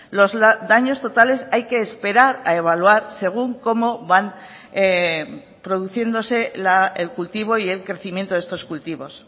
los daños totales hay que esperar a evaluar según cómo van produciéndose el cultivo y el crecimiento de estos cultivos